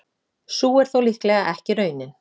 Sú er þó líklega ekki raunin.